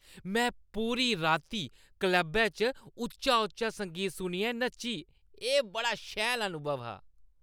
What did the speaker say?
मैं पूरी राती क्लबै च उच्चा उच्चा संगीत सुनियै नच्ची। एह् बड़ा शैल अनुभव हा।